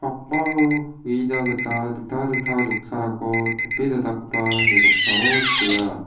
akmao uina gita dingtang dingtang noksarangko tape donakoba ia noksao nikenga.